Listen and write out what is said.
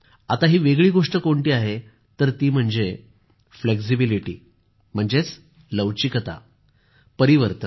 आता ही वेगळी गोष्ट कोणती तर ती म्हणजे फ्लेक्झिबिलिटी म्हणजेच लवचिकता परिवर्तन